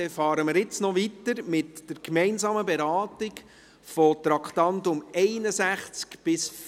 Jetzt fahren wir weiter mit der gemeinsamen Beratung der Traktanden 61–64.